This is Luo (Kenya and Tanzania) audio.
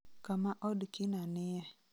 kama od kina nie